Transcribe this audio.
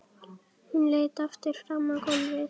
Hún leit aftur fram á gólfið.